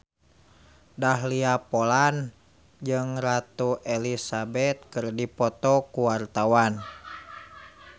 Dahlia Poland jeung Ratu Elizabeth keur dipoto ku wartawan